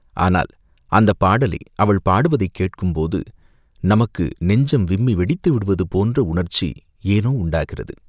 ஆனால் அந்தப் பாடலை அவள் பாடுவதைக் கேட்கும் போது நமக்கு நெஞ்சம் விம்மி வெடித்து விடுவது போன்ற உணர்ச்சி ஏனோ உண்டாகிறது.